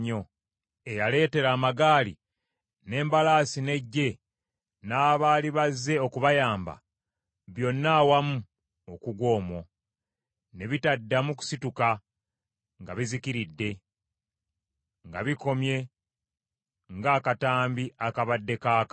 eyaleetera amagaali, n’embalaasi n’eggye, n’abaali bazze okubayamba, byonna awamu okugwa omwo, ne bitaddamu kusituka, nga bizikiridde, nga bikomye ng’akatambi akabadde kaaka: